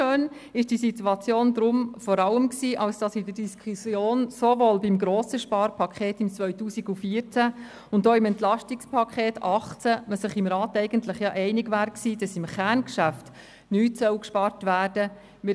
Unschön war diese Situation auch deshalb, weil der Grosse Rat sowohl beim grossen Sparpaket 2014 als auch beim Entlastungspaket 2018 (EP 18) Gelder im Kerngeschäft gekürzt hatte, obwohl man sich einig gewesen war, dass dort nichts eingespart werden soll.